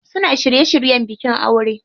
Suna shirye shiryen bikin aure.